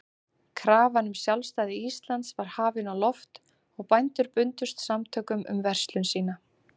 Krafan um sjálfstæði Íslands var hafin á loft, og bændur bundust samtökum um verslun sína.